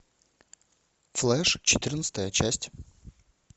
флеш четырнадцатая часть